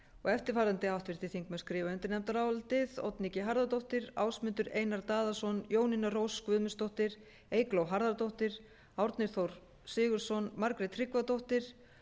eftirfarandi háttvirtir þingmenn skrifa undir nefndarálitið oddný g harðardóttir ásmundur einar daðason jónína rós guðmundsdóttir eygló harðardóttir árni þór sigurðsson margrét tryggvadóttir